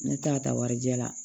Ne ta ka taa warijɛ la